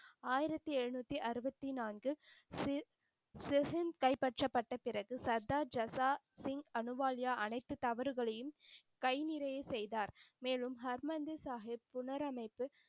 ஆயிரத்தி எழுநூத்தி அறுவத்தி நான்கு சீர் செகின் கைப்பற்றப் பட்ட பிறகு சர்தார் ஜஸாசிங் அலுவாலியா அனைத்து தவறுகளையும் கை நிறைய செய்தார். மேலும் ஹர்மந்திர் சாஹிப் புனரமைப்பு,